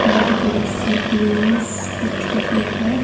बड़ी-बड़ी सी बिल्डिंग्स दिख रही है।